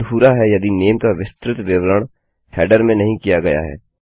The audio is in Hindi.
यह अधूरा है यदि नेम का विस्तृत विवरण हेडर में नहीं किया गया है